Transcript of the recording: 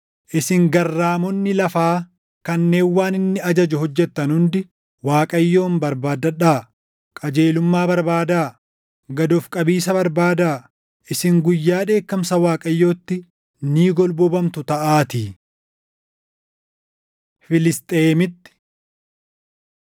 Isin garraamonni lafaa kanneen waan inni ajaju hojjettan hundi // Waaqayyoon barbaaddadhaa. Qajeelummaa barbaadaa; gad of qabiisa barbaadaa; isin guyyaa dheekkamsa Waaqayyootti ni golbomamtu taʼaatii. Filisxeemitti